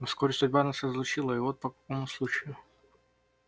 но вскоре судьба нас разлучила и вот по какому случаю